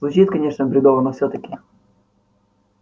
звучит конечно бредово но всё-таки